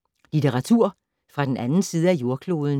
Litteratur fra den anden side af jordkloden